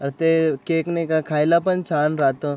अ ते केक नाही का खायला पण छान राहत.